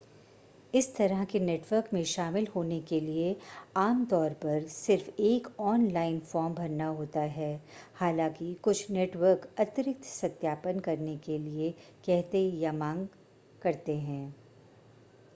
इस तरह के नेटवर्क में शामिल होने के लिए आमतौर पर सिर्फ एक ऑनलाइन फॉर्म भरना होता है हालांकि कुछ नेटवर्क अतिरिक्त सत्यापन करने के लिए कहते या मांग करते हैं